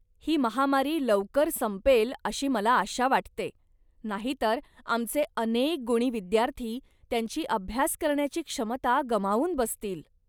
ही महामारी लवकर संपेल अशी मला आशा वाटते, नाही तर आमचे अनेक गुणी विद्यार्थी त्यांची अभ्यास करण्याची क्षमता गमावून बसतील.